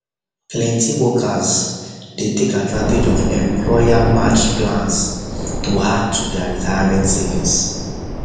plenty workers plenty workers dey take advantage of employermatched plans to add to their retirement savings